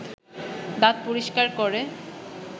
দাঁত পরিষ্কার করে